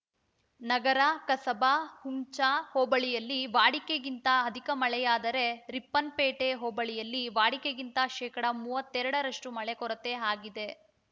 ನಗರ ಕಸಬಾ ಹುಂಚಾ ಹೋಬಳಿಯಲ್ಲಿ ವಾಡಿಕೆಗಿಂತ ಅಧಿಕ ಮಳೆಯಾದರೆ ರಿಪ್ಪನ್‌ಪೇಟೆ ಹೋಬಳಿಯಲ್ಲಿ ವಾಡಿಕೆಗಿಂತ ಶೇಕಡಾ ಮೂವತ್ತೆರಡರಷ್ಟು ಮಳೆ ಕೊರತೆ ಆಗಿದೆ